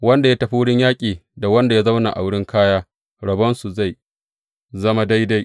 Wanda ya tafi wurin yaƙi da wanda ya zauna wurin kaya, rabonsu zai zama daidai.